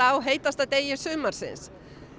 á heitasta degi sumarsins